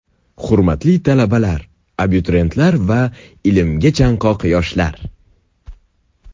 Hurmatli talabalar, abituriyentlar va ilmga chanqoq yoshlar!